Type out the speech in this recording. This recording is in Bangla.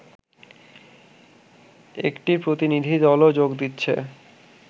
একটি প্রতিনিধিদলও যোগ দিচ্ছে